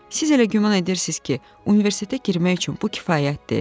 Siz elə güman edirsiniz ki, universitetə girmək üçün bu kifayətdir?